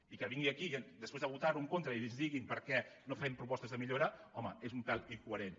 i que vingui aquí després de votar hi en contra i ens diguin per què no hi fem propostes de millora home és un pèl incoherent